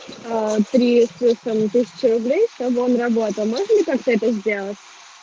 трест россэм тысяча рублей чтобы он работал можно ли как-то это сделать